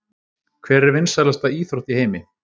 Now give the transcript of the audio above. Hver er vinsælasta íþrótt í heimi?